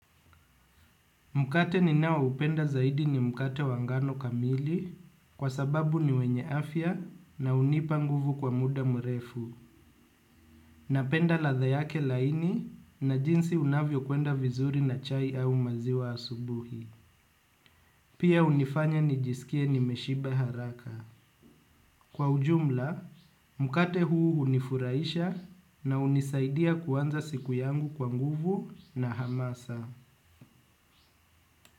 Mkate ninao upenda zaidi ni mkate wa ngano kamili kwa sababu ni wenye afya na hunipa nguvu kwa muda mrefu. Napenda latha yake laini na jinsi unavyo kwenda vizuri na chai au maziwa asubuhi. Pia hunifanya nijisikie nimeshiba haraka. Kwa ujumla mkate huu hunifurahisha na hunisaidia kuanza siku yangu kwa nguvu na uhamasa.